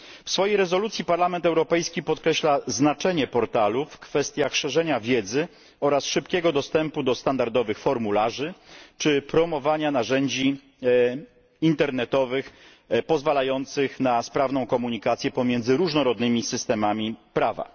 W swojej rezolucji Parlament Europejski podkreśla znaczenie tego portalu pod względem szerzenia wiedzy i szybkiego dostępu do standardowych formularzy czy promowania narzędzi internetowych pozwalających na sprawną komunikację pomiędzy różnymi systemami prawa.